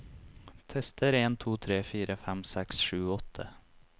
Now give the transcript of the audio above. Tester en to tre fire fem seks sju åtte